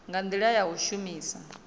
nga ndila ya u shumisa